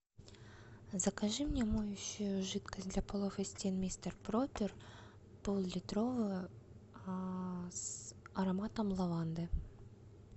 закажи мне моющую жидкость для полов и стен мистер пропер поллитровую с ароматом лаванды